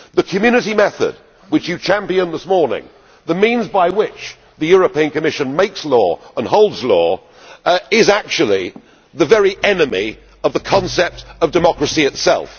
The Community method which was championed this morning, the means by which the European Commission makes law and holds law, is actually the very enemy of the concept of democracy itself.